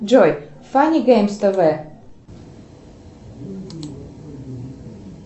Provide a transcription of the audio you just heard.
джой фанни геймс тв